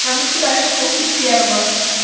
там ещё дальше просто пёрло